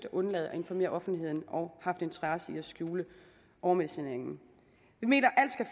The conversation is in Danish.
at undlade at informere offentligheden og haft interesse i at skjule overmedicineringen vi mener